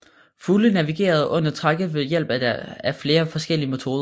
Fugle navigerer under trækket ved hjælp af flere forskellige metoder